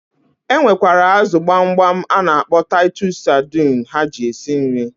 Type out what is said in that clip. E nwekwara azụ gbamgbam a na-akpọ taịtus sadịn ha ji esi nri.